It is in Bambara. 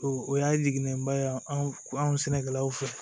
O y'a jiginnen ba ye anw sɛnɛkɛlaw fɛ